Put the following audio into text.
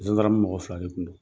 Zandaramu mɔgɔ fila de kun don.